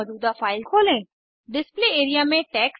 आई IT Bombay से मैं श्रुति आर्य आपसे विदा लेती हूँ